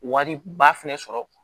Wari ba fɛnɛ sɔrɔ